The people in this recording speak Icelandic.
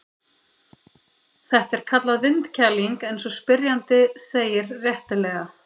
Þetta er kallað vindkæling eins og spyrjandi segir réttilega.